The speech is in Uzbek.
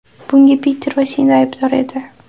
Bunga Piter va Sinda aybdor edi”.